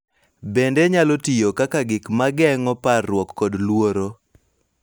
Bende nyalo tiyo kaka gik ma geng�o parruok kod luoro,